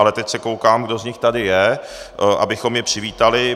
Ale teď se koukám, kdo z nich tady je, abychom je přivítali.